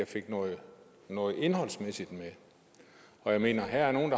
fik noget indholdsmæssigt med jeg mener her er nogle